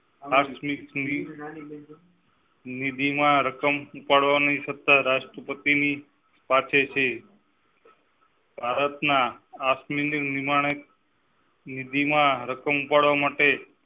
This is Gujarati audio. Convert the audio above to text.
નિધિ માં રકમ ઉપાડવાની સત્તા રાષ્ટ્રપતિ પાસે છે ભારતના વિમાને નિધિ માં રકમ ઉપાડવાની